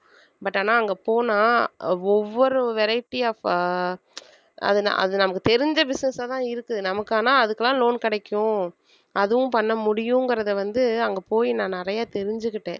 but ஆனா அங்க போனா ஒவ்வொரு variety of ஆஹ் அது ந~ அது நமக்கு தெரிஞ்ச business ஆதான் இருக்குது நமக்கு ஆனா அதுக்கெல்லாம் loan கிடைக்கும் அதுவும் பண்ண முடியுங்கறதை வந்து அங்க போய் நான் நிறைய தெரிஞ்சுக்கிட்டேன்